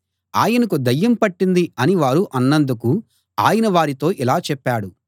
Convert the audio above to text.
ఆయనకు దయ్యం పట్టింది అని వారు అన్నందుకు ఆయన వారితో ఇలా చెప్పాడు